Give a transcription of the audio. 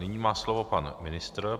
Nyní má slovo pan ministr.